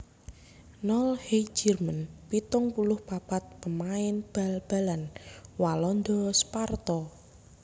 Nol Heijerman pitung puluh papat pamain bal balan Walanda Sparta